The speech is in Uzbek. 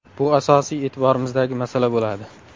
Bu asosiy e’tiborimizdagi masala bo‘ladi.